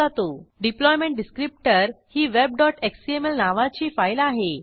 deployment descriptor ही webएक्सएमएल नावाची फाईल आहे